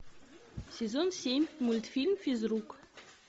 сезон семь мультфильм физрук